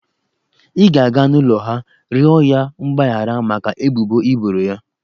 I ga-aga n'ụlọ ha, rịọ ya mgbahara maka ebubo i boro ya.